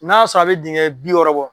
N'a sɔrɔ a bɛ diŋɛ bi wɔɔrɔ bɔ